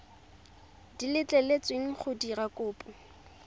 di letleletsweng go dira kopo